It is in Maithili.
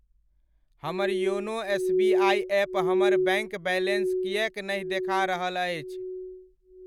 हमर योनो एसबीआइ एप हमर बैङ्क बैलेन्स किएक नहि देखा रहल अछि?